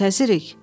müntəzirik.